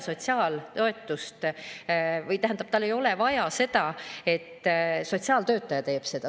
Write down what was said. Tal ei ole vaja seda, et sotsiaaltöötaja seda teeks.